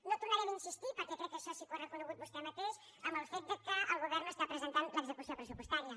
no hi tornarem a insistir perquè crec que això sí que ho ha reconegut vostè mateix en el fet que el govern no està presentant l’execució pressupostària